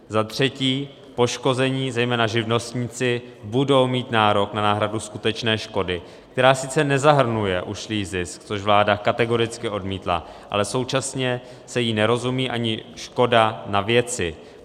Za třetí, poškození, zejména živnostníci, budou mít nárok na náhradu skutečné škody, která sice nezahrnuje ušlý zisk, což vláda kategoricky odmítla, ale současně se jí nerozumí ani škoda na věci.